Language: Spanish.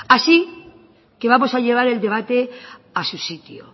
así que vamos a llevar el debate a su sitio